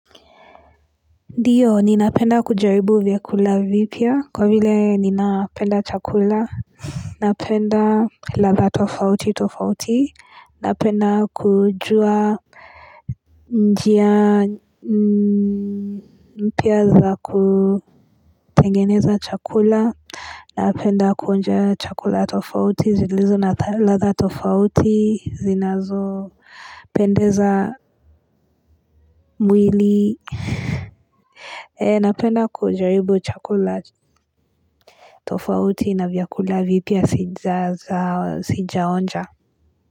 Ndiyo ninapenda kujaribu vyakula vipya kwa vile ninapenda chakula Napenda ladha tofauti tofauti napenda kujua njia mpya za kutengeneza chakula Napenda kuonja chakula tofauti zilizo na ladha tofauti zinazopendeza mwili Napenda kujaribu chakula tofauti na vyakula vipya sijaonja.